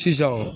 Sisan